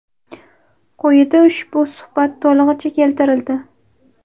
Qo‘yida ushbu suhbat to‘lig‘icha keltirildi.